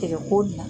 Tɛgɛ ko dilan